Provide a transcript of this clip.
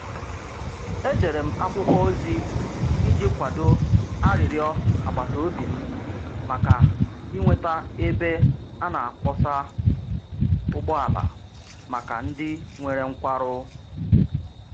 Edere m akwụkwọ ozi iji kwado arịrịọ agbata obi m maka inweta ebe a na-akwọsa ụgbọala maka ndị nwere nkwarụ.